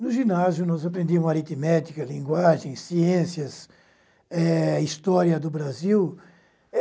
No ginásio, nós aprendíamos aritmética, linguagem, ciências, eh história do Brasil.